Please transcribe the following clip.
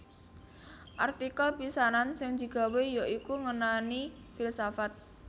Artikel pisanan sing digawé ya iku ngenani filsafat